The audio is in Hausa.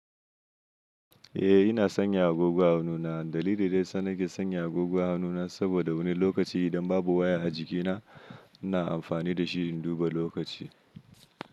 Eh ina sanya agogo a hannuna. Dalilin da ya sa na ke sanya agogo a hannuna saboda wani lokaci idan babu waya a jikina ina amfani da shi in duba lokaci.